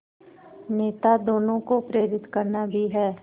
नेता दोनों को प्रेरित करना भी है